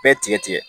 Bɛɛ tigɛ tigɛ